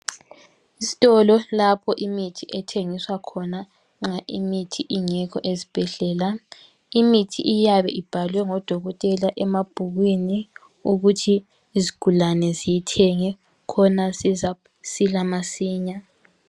Isitolo lapho imithi ethengiswa khona nxa imithi ingekho ezibhedlela. Imithi iyabe ibhalwe ngodokotela emabhukwini ukuthi izigulane ziyithenge khona zizasila masinya.